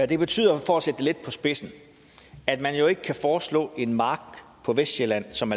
det betyder for at sætte det lidt på spidsen at man jo ikke kan foreslå en mark på vestsjælland som